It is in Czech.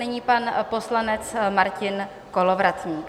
Nyní pan poslanec Martin Kolovratník.